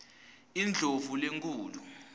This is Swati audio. indlovulenkhulu